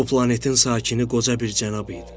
Bu planetin sakini qoca bir cənab idi.